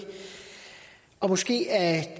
måske er